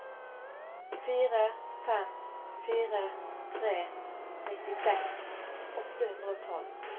fire fem fire tre nittiseks åtte hundre og tolv